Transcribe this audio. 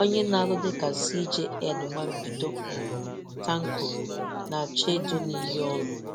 Onye na-arụ dịka CJN nwa mbido, um Tanko, na-achọ ịdụ n’iyi ọrụ